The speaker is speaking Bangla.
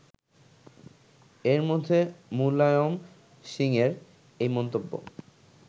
এর মধ্যে মুলায়ম সিংয়ের এই মন্তব্য